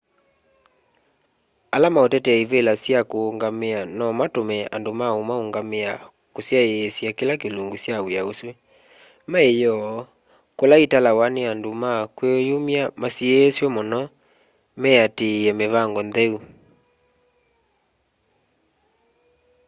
ala maũtetea ivĩla sya kũũngamĩa nomatũme andũ ma ũmaũngamĩa kũsyaĩsya kĩla kĩlungu kya wĩa ũsu maĩyoo kula italawa nĩ andũ ma kwĩyumya masiĩswe mũno meatĩĩe mĩvango ntheu